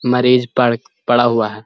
मरीज पड़-पड़ा हुआ है।